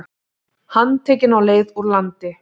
Handtekinn á leið úr landi